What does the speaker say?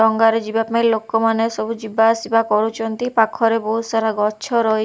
ଡଙ୍ଗା ରେ ଯିବା ପାଇଁ ଲୋକ ମାନେ ସବୁ ଯିବା ଆସିବା କରୁଚନ୍ତି ପାଖରେ ବହୁତ ସାରା ଗଛ ରହି --